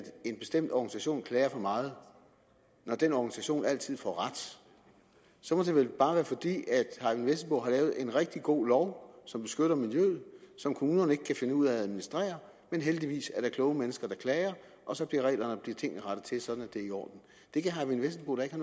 en bestemt organisation klager for meget når den organisation altid får ret så må det vel bare være fordi herre eyvind vesselbo har lavet en rigtig god lov som beskytter miljøet og som kommunerne ikke kan finde ud af at administrere men heldigvis er der kloge mennesker der klager og så bliver tingene rettet til sådan at det er i orden det kan herre eyvind vesselbo da ikke